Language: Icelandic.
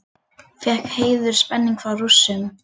Fékk heiðurspening frá Rússum